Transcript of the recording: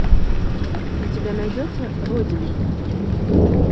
у тебя найдется родина